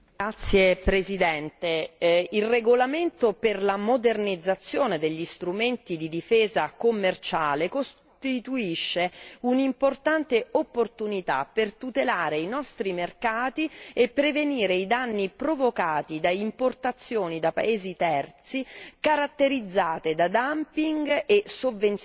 Signora Presidente, il regolamento per la modernizzazione degli strumenti di difesa commerciale costituisce un'importante opportunità per tutelare i nostri mercati e prevenire i danni provocati da importazioni da paesi terzi caratterizzate da dumping e sovvenzioni illecite.